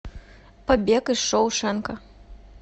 побег из шоушенка